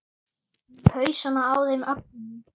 Í hausana á þeim öllum.